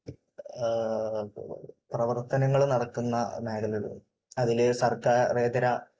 പ്രവർത്തനങ്ങൾ നടക്കുന്ന മേഖലകളുണ്ട്. അതിലെ സർക്കാരേതര